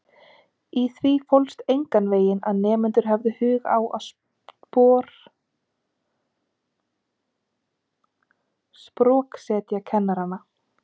Í því fólst enganveginn að nemendur hefðu hug á að sproksetja kennarana.